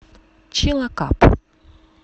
чилакап